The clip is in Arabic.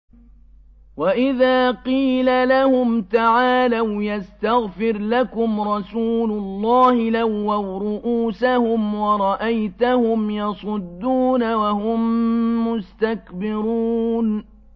وَإِذَا قِيلَ لَهُمْ تَعَالَوْا يَسْتَغْفِرْ لَكُمْ رَسُولُ اللَّهِ لَوَّوْا رُءُوسَهُمْ وَرَأَيْتَهُمْ يَصُدُّونَ وَهُم مُّسْتَكْبِرُونَ